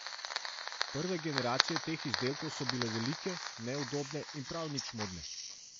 Prve generacije teh izdelkov so bile velike, neudobne in prav nič modne.